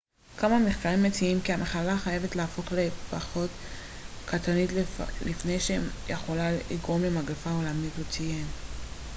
כמה מחקרים מציעים כי המחלה חייבת להפוך לפחות קטלנית לפני שהיא יכולה לגרום למגפה עולמית הוא ציין